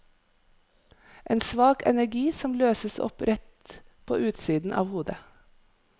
En svak energi som løses opp rett på utsiden av hodet.